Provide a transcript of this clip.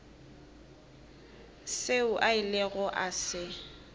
seo a ilego a se